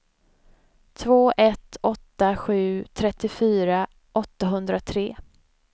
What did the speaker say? två ett åtta sju trettiofyra åttahundratre